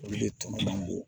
Olu de tɔnɔ man bɔ